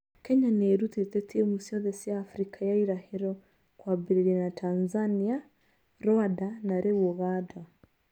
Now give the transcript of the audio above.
Kenya nĩ ĩrutĩte timu ciothe cia Africa ya ĩrahĩro kwambĩrĩria na Tanzania, Rũanda na rĩu Ũganda.